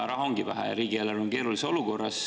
Raha ongi vähe, riigieelarve on keerulises olukorras.